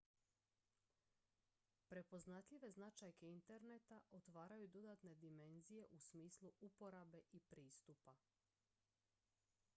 prepoznatljive značajke interneta otvaraju dodatne dimenzije u smislu uporabe i pristupa